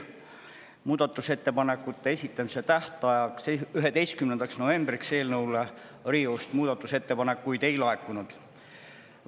Muudatusettepanekute esitamise tähtajaks, 11. novembriks eelnõu kohta Riigikogu muudatusettepanekuid ei laekunud.